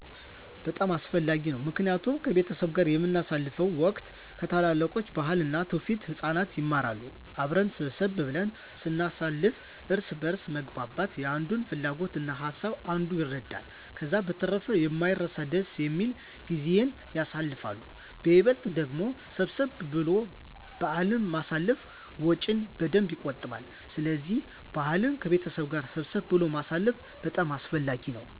በጣም አስፈላጊ ነው ምክንያቱም ከቤተሰብ ጋር በምናሳልፍበት ወቅት ከታላላቆች ባህልን እና ትውፊትን ህፃናት ይማራሉ። አብረን ሰብሰብ ብለን ስናሳልፍ እርስ በእርስ መግባባት የአንዱን ፍላጎት እና ሀሳብ አንዱ ይረዳል። ከዛ በተረፈ የማይረሳ ደስ የሚል ጊዜን ያሳልፋሉ በይበልጥ ደግሞ ሰብሰብ ብሎ በአልን ማሳለፍ ወጭን በደንብ የቆጥባል ስለዚህ በአልን ከቤተሰብ ጋር ሰብሰብ ብሎ ማሳለፍ በጣም አስፈላጊ ነው።